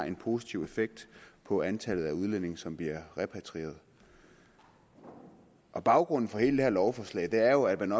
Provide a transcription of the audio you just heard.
en positiv effekt på antallet af udlændinge som blev repatrieret baggrunden for hele det her lovforslag er jo at man